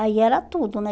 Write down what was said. Aí era tudo, né?